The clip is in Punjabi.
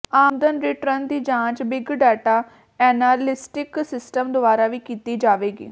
ਆਮਦਨ ਰਿਟਰਨ ਦੀ ਜਾਂਚ ਬਿਗ ਡਾਟਾ ਐਨਾਲਿਟਿਕਸ ਸਿਸਟਮ ਦੁਆਰਾ ਵੀ ਕੀਤੀ ਜਾਵੇਗੀ